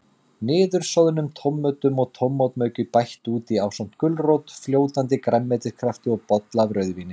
Niðursoðnum tómötum og tómatmauki bætt út í, ásamt gulrót, fljótandi grænmetiskrafti og bolla af rauðvíni.